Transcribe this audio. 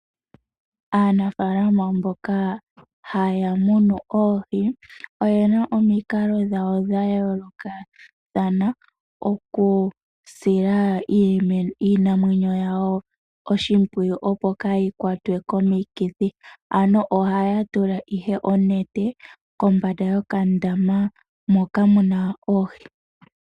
Aanafalama mboka haya munu oohi oyena omikalo dhawo dhayoolokathana okusila iinamwenyo yawo oshimpwiyu opo kaayi kwatwe komikithi ano ohaya tula ihe onete kombanda yokandama moka muna oohi.